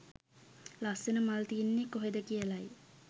ලස්සන මල් තියෙන්නේ කොහේද කියලයි.